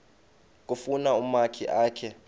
kufuna umakhi akhe